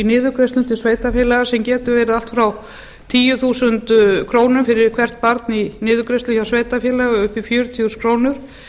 niðurgreiðslum til sveitarfélaga sem getur verið allt ára tíu þúsund krónur fyrir hvert barn í niðurgreiðslu hjá sveitarfélagi upp í fjörutíu þúsund krónur